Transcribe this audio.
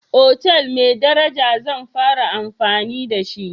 otal mai daraja zan fara amfani da shi.